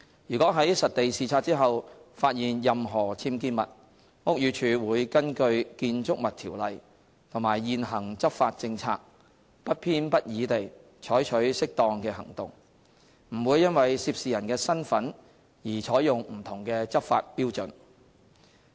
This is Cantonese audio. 如在實地視察後發現任何僭建物，屋宇署會根據《建築物條例》和現行執法政策，不偏不倚地採取適當的行動，不會因為涉事人的身份而採用不同的執法標準。